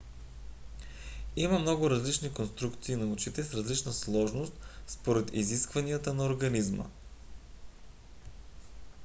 има много различни конструкции на очите с различна сложност според изискванията на организма